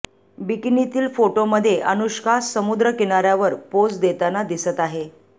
बिकीनीतील फोटोमध्ये अनुष्का समुद्र किनाऱ्यावर पोझ देताना दिसत आहे